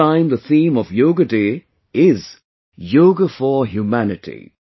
This time the theme of 'Yoga Day' is Yoga for Humanity